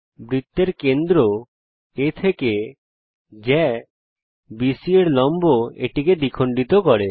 বৃত্তের কেন্দ্র A থেকে জ্যা বিসি এর লম্ব এটিকে দ্বিখণ্ডিত করে